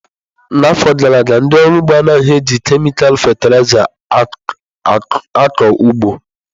N'afọ gara aga, ndị ọrụ ugbo anaghị eji kemịkal fatịlaịza akụ ụgbọ.